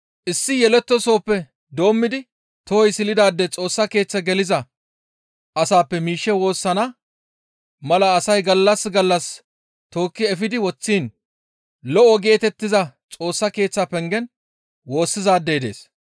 Issi yelettoosoppe doommidi tohoy silidaade Xoossa Keeththe geliza asappe miishshe woossana mala asay gallas gallas tookki efidi woththiin, «Lo7o» geetettiza Xoossa Keeththa pengen woossizaadey dees.